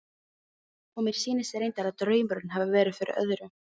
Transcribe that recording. Og mér sýnist reyndar að draumurinn hafi verið fyrir öðru.